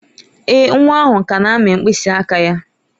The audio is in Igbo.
Èè, nwa ahụ ka na-amị mkpịsị aka ya.